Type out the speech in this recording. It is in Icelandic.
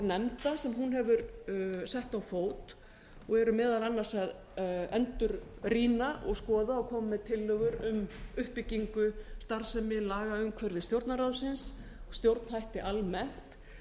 nefnda sem hún hefur sett á fót og eru meðal annars að endurrýna og skoða og koma með tillögu um uppbyggingu starfsemi lagaumhverfis stjórnarráðsins og stjórnhætti almennt